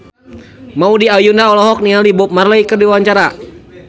Maudy Ayunda olohok ningali Bob Marley keur diwawancara